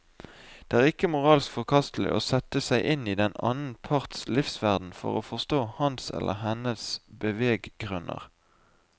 Det er ikke moralsk forkastelig å sette seg inn i den annen parts livsverden for å forstå hans eller hennes beveggrunner.